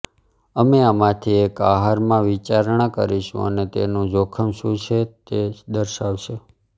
અમે આમાંથી એક આહારમાં વિચારણા કરીશું અને તેનું જોખમ શું છે તે દર્શાવશે